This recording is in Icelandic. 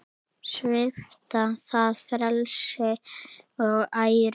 Svipta það frelsi og æru.